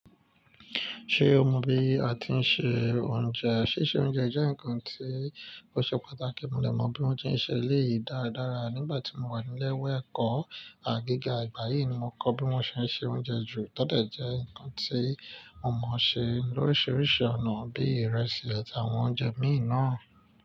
Ṣé o mọ bí a tí ń se oúnjẹ? Síse oúnjẹ jẹ́ nǹkan tí ó ṣe pàtàkì, mo dè mọ bí wón tí ń se eléyìí dáradára nígbà tí mo wà nílé ìwé ẹ̀kọ́ gìga, ìgbà yìí ni mo kọ bí wón ṣe ń se oúnjẹ jù, tọ́ dẹ̀ jẹ́ nǹkan tí mo mọo ṣe lóríṣiríṣi ọ̀nà bíi ìrẹsì àti àwọn oúnjẹ mìí nàa.